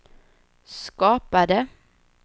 skapade